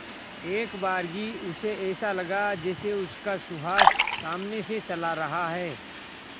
एकबारगी उसे ऐसा लगा जैसे उसका सुहास सामने से चला रहा है